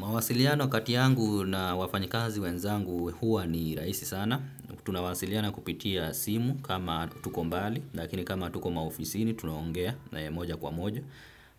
Mawasiliano kati yangu na wafanyikazi wenzangu huwa ni rahisi sana. Tunawasiliana kupitia simu kama tuko mbali, lakini kama tuko maofisini tunaongea na moja kwa moja.